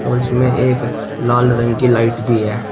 और इसमें एक लाल रंग की लाइट भी है।